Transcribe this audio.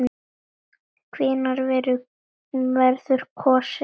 Hvenær verður kosið?